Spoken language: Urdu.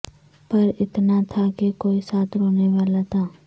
پر اتنا تھا کہ کوئی ساتھ رونے والا تھا